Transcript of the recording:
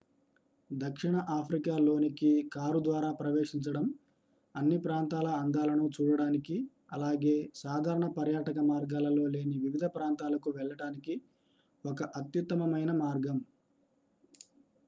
దక్షిణ ఆఫ్రికా లోనికి కారు ద్వారా ప్రవేశించడం అన్ని ప్రాంతాల అందాలను చూడటానికి అలాగే సాధారణ పర్యాటక మార్గాలలో లేని వివిధ ప్రాంతాలకు వెళ్ళటానికి ఒక అత్యుత్తమమైన మార్గం